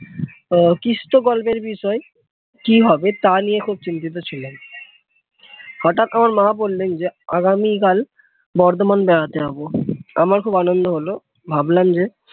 আহ কৃষ্ট গল্পের বিষয় কি হবে তা নিয়ে খুব চিন্তিত ছিলাম হঠাৎ আমাার মা বললেন যে আগামীকাল বর্ধমান বেড়াতে যাবো আমার খুব আনন্দ হলো ভাবলাম যে